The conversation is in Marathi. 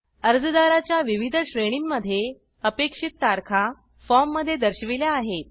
अर्जदाराच्या विविध श्रेणींमध्ये अपेक्षित तारखा फॉर्ममध्ये दर्शविल्या आहेत